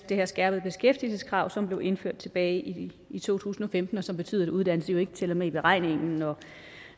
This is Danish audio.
det her skærpede beskæftigelseskrav som blev indført tilbage i i to tusind og femten og som betyder at uddannelse jo ikke tæller med i beregningen